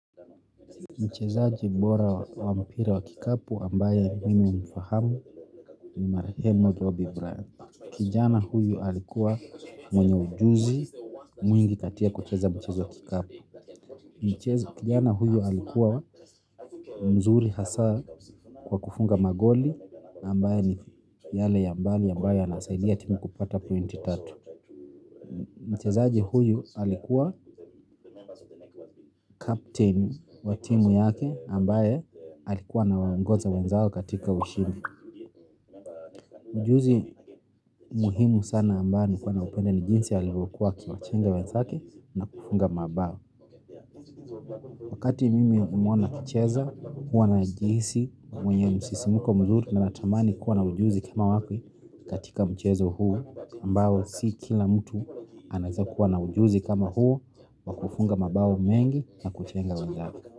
Mchezaji bora wa mpira wa kikapu ambaye mimi umfahamu ni Marehemu Dobby Bryant. Kijana huyu alikuwa mwenye ujuzi mwingi katia kucheza mchezo kikapu. Kijana huyu alikuwa mzuri hasa kwa kufunga magoli ambaye ni yale ya mbali ambaye yanasaidia timu kupata pointi tatu. Mchezaji huyu alikuwa captain wa timu yake ambaye alikuwa anawangoza wenzakeo katika ushindi. Ujuzi muhimu sana ambayo nilikuwa naupenda ni jinsi ya alivokuwa akichenga wenzake na kufunga mabao. Wakati mimi humwona akicheza, huwa najihisi mwenye msisimko mzuri na natamani kuwa na ujuzi kama wake katika mchezo huu ambao si kila mtu aneaza kuwa na ujuzi kama huu kufunga mabao mengi na kuchenga wenzake.